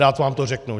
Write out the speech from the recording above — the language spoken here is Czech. Rád vám to řeknu.